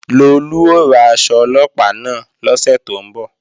Lolú ó ra aṣọ Ọlọ́pàá náà lọ́sẹ̀ tó ń bọ̀